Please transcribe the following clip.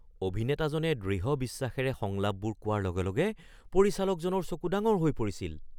অভিনেতাজনে দৃঢ় বিশ্বাসেৰে সংলাপবোৰ কোৱাৰ লগে লগে পৰিচালকজনৰ চকু ডাঙৰ হৈ পৰিছিল।